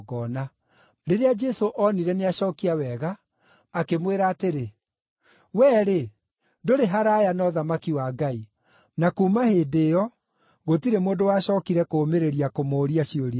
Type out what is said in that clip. Rĩrĩa Jesũ oonire nĩacookia wega, akĩmwĩra atĩrĩ, “Wee-rĩ, ndũrĩ haraaya na ũthamaki wa Ngai.” Na kuuma hĩndĩ ĩyo gũtirĩ mũndũ wacookire kũũmĩrĩria kũmũũria ciũria ingĩ.